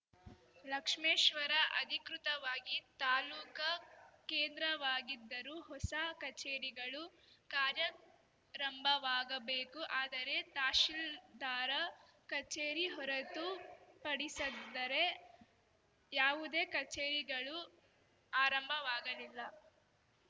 ಲಕ್ಷ್ಮೇಶ್ವರ ಅಧಿಕೃತವಾಗಿ ತಾಲೂಕಾ ಕೇಂದ್ರವಾಗಿದ್ದರು ಹೊಸ ಕಚೇರಿಗಳು ಕಾರ್ಯಾರಂಭವಾಗಬೇಕು ಆದರೆ ತಹಶಿಲ್ದಾರ ಕಚೇರಿ ಹೊರತು ಪಡಿಸದ್ದರೇ ಯಾವುದೇ ಕಚೇರಿಗಳು ಆರಂಭವಾಗಲಿಲ್ಲ